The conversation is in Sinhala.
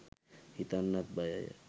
හිතන්නත් බයය